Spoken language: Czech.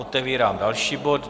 Otevírám další bod.